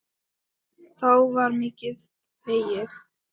Þá var mikið hlegið.